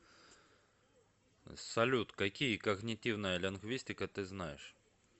салют какие когнитивная лингвистика ты знаешь